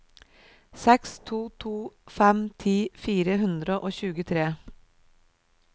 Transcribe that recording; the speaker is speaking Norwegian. seks to to fem ti fire hundre og tjuetre